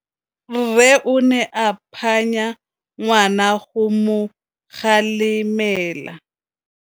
Rre o ne a phanya ngwana go mo galemela.